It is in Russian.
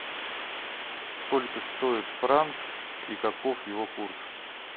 сколько стоит франк и каков его курс